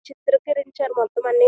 ఈ చిత్రం గురించి అన్నమాట మొత్తం అన్ని